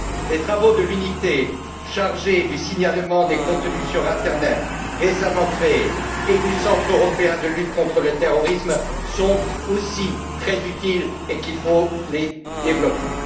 Les travaux de l'unité chargée du signalement des contenus sur l'internet, récemment créée, et du Centre européen de lutte contre le terrorisme sont eux aussi très utiles et il faut les développer.